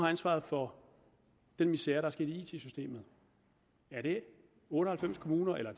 ansvaret for den misere der er sket i it systemet er det otte og halvfems kommuner eller